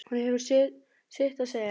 Hún hefur sitt að segja.